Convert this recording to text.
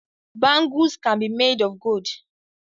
Bangles can be made of gold